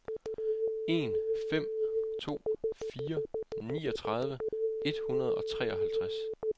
en fem to fire niogtredive et hundrede og treoghalvtreds